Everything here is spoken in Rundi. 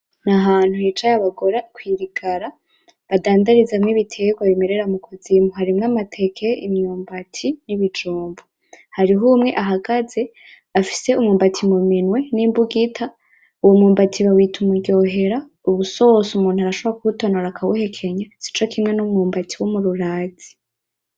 Ni ahantu hicaye abagore kwi rigara badandarizamwo ibitegwa bimerera mu kuzimu. Harimwo amateke, imyumbati, n'ibijumbu. Hariho umwe ahagaze afise umwumbati muminwe n'imbugita, uwo mwumbati bawita umuryohera. Uba usosa umuntu arashobora kuwutonora akawuhekenya. Sico kimwe n'umwumbati w'umururazi.